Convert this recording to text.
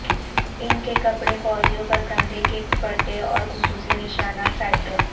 ان کے کپڑے فوجیوں پر کندھے کے پٹے اور خصوصی نشانات سائٹوں